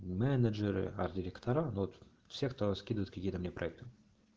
менеджеры арт директора ну вот все кто скидывает какие то мне проекты